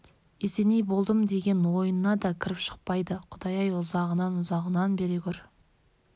есеней болдым деген ойынна да кіріп шықпайды құдай-ай ұзағынан ұзағынан бере көр